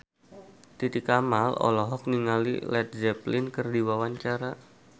Titi Kamal olohok ningali Led Zeppelin keur diwawancara